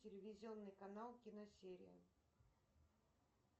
телевизионный канал киносерия